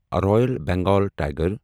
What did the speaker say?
royal Bengal tiger